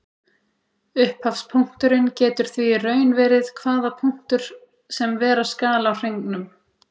Upphafspunkturinn getur því í raun verið hvaða punktur sem vera skal á hringnum.